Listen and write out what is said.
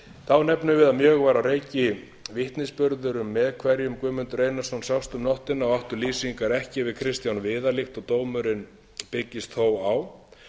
þá nefnum við að mjög var á reiki vitnisburður um með hverjum guðmundur einarsson sást um nóttina og áttu lýsingar ekki við kristján viðar líkt og dómurinn byggist þó á